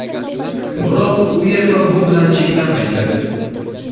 Biroq UEFA bu bilan cheklanmaydi.